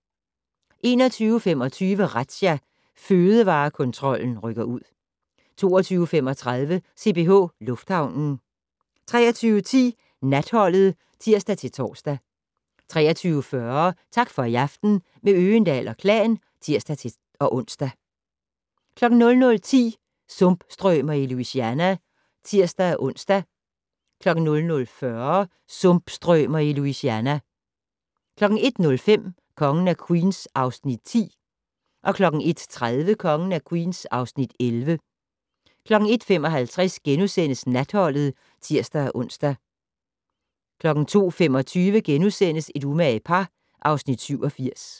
21:25: Razzia - Fødevarekontrollen rykker ud 22:35: CPH Lufthavnen 23:10: Natholdet (tir-tor) 23:40: Tak for i aften - med Øgendahl & Klan (tir-ons) 00:10: Sumpstrømer i Louisiana (tir-ons) 00:40: Sumpstrømer i Louisiana 01:05: Kongen af Queens (Afs. 10) 01:30: Kongen af Queens (Afs. 11) 01:55: Natholdet *(tir-ons) 02:25: Et umage par (Afs. 87)*